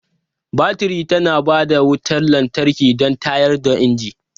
Baturi tana ba da wutar lantarki don tayar da inji.